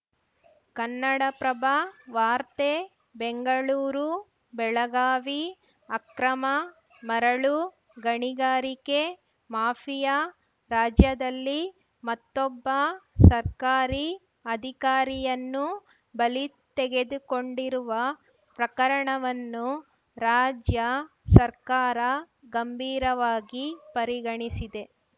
ಕನ್ನಡಪ್ರಭ ವಾರ್ತೆ ಬೆಂಗಳೂರುಬೆಳಗಾವಿ ಅಕ್ರಮ ಮರಳು ಗಣಿಗಾರಿಕೆ ಮಾಫಿಯಾ ರಾಜ್ಯದಲ್ಲಿ ಮತ್ತೊಬ್ಬ ಸರ್ಕಾರಿ ಅಧಿಕಾರಿಯನ್ನು ಬಲಿ ತೆಗೆದುಕೊಂಡಿರುವ ಪ್ರಕರಣವನ್ನು ರಾಜ್ಯ ಸರ್ಕಾರ ಗಂಭೀರವಾಗಿ ಪರಿಗಣಿಸಿದೆ